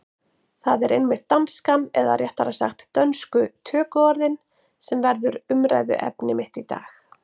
Það er einmitt danskan, eða réttara sagt dönsku tökuorðin, sem verður umræðuefni mitt í dag.